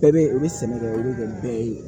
Bɛɛ bɛ u bɛ sɛnɛ kɛ o bɛ kɛ bɛɛ ye